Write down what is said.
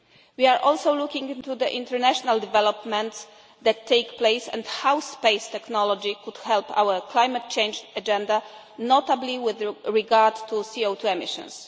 We are also looking into the international developments taking place and how space technology could help our climate change agenda, notably with regard to CO2 emissions.